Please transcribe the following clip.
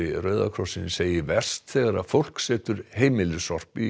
Rauða krossins segir verst þegar fólk setur heimilissorp í